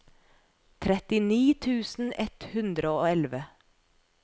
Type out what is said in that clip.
trettini tusen ett hundre og elleve